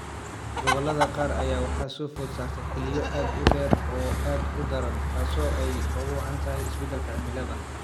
Gobollada qaar ayaa waxaa soo food saartay xilliyo aad u dheer oo aad u daran taasoo ay ugu wacan tahay isbedelka cimilada.